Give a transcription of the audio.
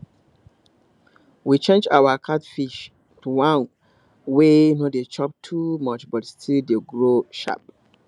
we change our catfish to one wey no dey chop too much but still dey grow sharp